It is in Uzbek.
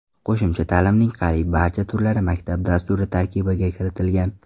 Qo‘shimcha ta’limning qariyb barcha turlari maktab dasturi tarkibiga kiritilgan.